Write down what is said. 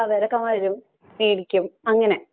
അവരൊക്കെ മേടിക്കും അങ്ങനെ.